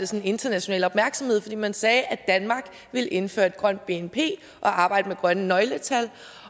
sådan international opmærksomhed fordi man sagde at danmark ville indføre et grønt bnp og arbejde med grønne nøgletal